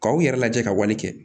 K'aw yɛrɛ lajɛ ka wale kɛ